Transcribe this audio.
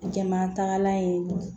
Jama tagalan ye